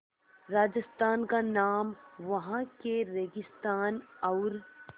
राजस्थान का नाम वहाँ के रेगिस्तान और